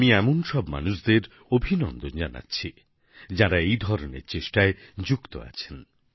আমি এমন সব মানুষদের অভিনন্দন জানাচ্ছি যাঁরা এই ধরনের চেষ্টায় যুক্ত আছেন